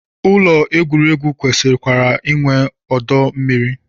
Ụlọ egwuregwu kwesịkwara inwe ọdọ mmiri